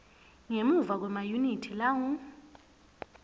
ngemuva kwemayunithi langu